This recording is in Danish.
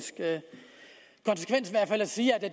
sige at det